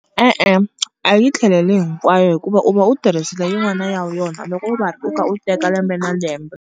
E-e a yi tlheleli hinkwayo hikuva u va u tirhisela yin'wana ya yona loko u va u kha u teka lembe na lembe.